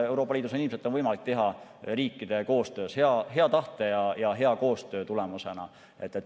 Euroopa Liidus on ilmselt võimalik seda teha riikide koostöös, hea tahte olemasolu korral ja hea koostöö tulemusena.